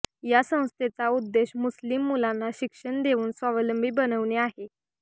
या संस्थेचा उद्देश्य मुस्लिम मुलांना शिक्षण देऊन स्वावलंबी बनविणे आहे